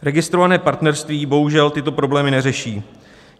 Registrované partnerství bohužel tyto problémy neřeší.